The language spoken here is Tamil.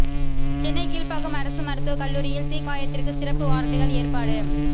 சென்னை கீழ்ப்பாக்கம் அரசு மருத்துவ கல்லூரியில் தீ காயத்திற்கு சிறப்பு வார்டுகள் ஏற்பாடு